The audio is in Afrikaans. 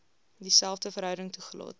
dieselfde verhouding toegelaat